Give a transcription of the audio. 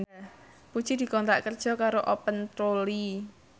Puji dikontrak kerja karo Open Trolley